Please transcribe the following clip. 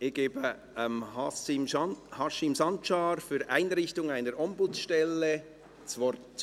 Ich gebe Haşim Sancar für «Einrichtung einer Ombudsstelle» das Wort.